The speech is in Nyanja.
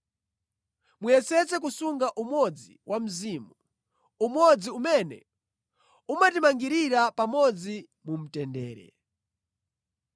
Muyesetse kusunga umodzi wa Mzimu; umodzi umene umatimangirira pamodzi mu mtendere.